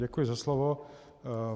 Děkuji za slovo.